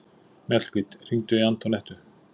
Mjallhvít, hringdu í Antonettu.